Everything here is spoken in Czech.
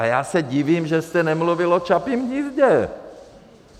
A já se divím, že jste nemluvil o Čapím hnízdě.